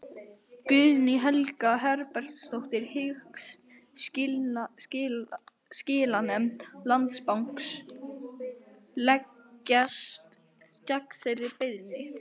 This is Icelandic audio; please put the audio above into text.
Guðný Helga Herbertsdóttir: Hyggst skilanefnd Landsbankans leggjast gegn þeirri beiðni?